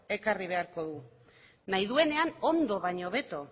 ekarri beharko du nahi duenean ondo baino hobeto